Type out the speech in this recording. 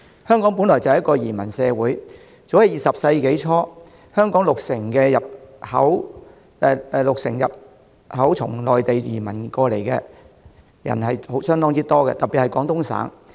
香港本來就是一個移民社會，早在20世紀初，香港六成人口從內地，特別是廣東省，移民而來，為數相當多。